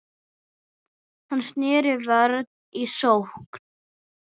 Hann sneri vörn í sókn.